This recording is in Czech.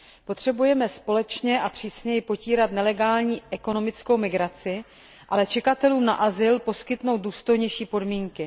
Potřebujeme společně a přísněji potírat nelegální ekonomickou migraci, ale čekatelům na azyl poskytnout důstojnější podmínky.